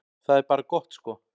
Það er bara gott sko.